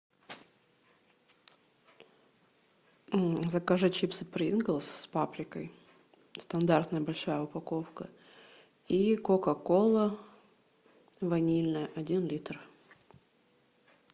закажи чипсы принглс с паприкой стандартная большая упаковка и кока кола ванильная один литр